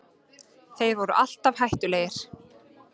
Þeir voru alltaf hættulegir